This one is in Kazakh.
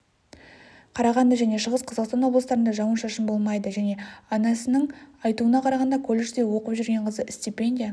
қарағанды және шығыс қазақстан облыстарында жауын-шашын болмайды және анасының айтуына қарағанда колледжде оқып жүрген қызы стипендия